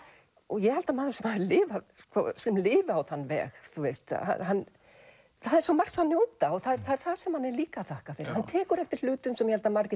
ég held að maður sem lifir sem lifir á þann veg það er svo margs að njóta og það er það er það sem hann er líka að þakka fyrir hann tekur eftir hlutum sem ég held að margir